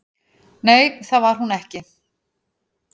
"""Nei, það var hún ekki."""